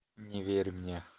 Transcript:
не верь мне